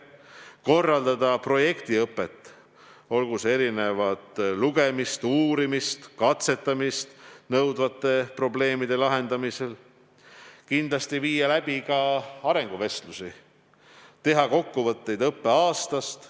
Tuleb korraldada projektõpet, olgu lugemist, uurimist või katsetamist nõudvate probleemide lahendamisel, ning kindlasti teha ka arenguvestlusi, kokkuvõtet õppeaastast.